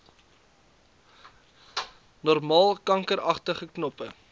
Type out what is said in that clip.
normaal kankeragtige knoppe